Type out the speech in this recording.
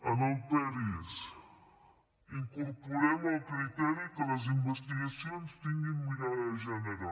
en el peris incorporem el criteri que les investigacions tinguin mirada de gènere